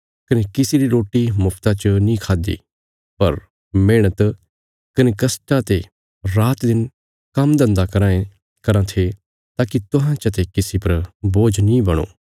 कने किसी ले मुफ्ता च रोटी नीं खाद्दि बल्कि अहें कड़िया मेहणता ने रातदिन काम्म करदे रै ताकि अहांजो अपणियां जरूरतां रे खातर तुहां चते किसी पर बि निर्भर होणा नीं पौ